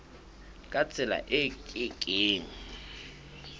ka tsela e ke keng